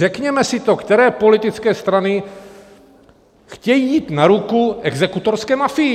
Řekněme si to, které politické strany chtějí jít na ruku exekutorské mafii!